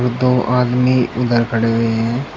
दो आदमी उधर खड़े हुए हैं।